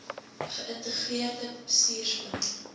ge ïntegreerde bestuursplan